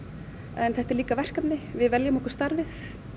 en þetta er líka verkefni við veljum okkur starfið